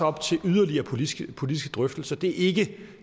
op til yderligere politiske politiske drøftelser det er ikke